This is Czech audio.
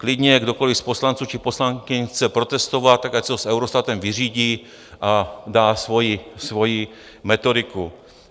Klidně kdokoli z poslanců či poslankyň chce protestovat, tak ať si to s Eurostatem vyřídí a dá svoji metodiku.